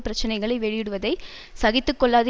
பிரச்சனைகளை வெளியிடுவதை சகித்து கொள்ளாது